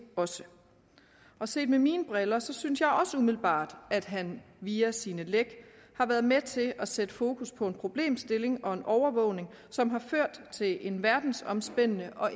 også og set med mine briller synes jeg også umiddelbart at han via sine læk har været med til at sætte fokus på en problemstilling og en overvågning som har ført til en verdensomspændende og